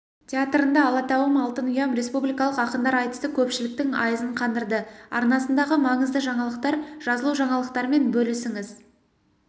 тетарында алатауым алтын ұям республикалық ақындар айтысы көпшіліктің айызын қандырды арнасындағы маңызды жаңалықтар жазылужаңалықтармен бөлісіңіз